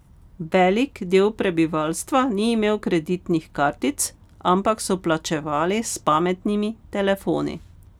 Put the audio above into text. Velik del prebivalstva ni imel kreditnih kartic, ampak so plačevali s pametnimi telefoni.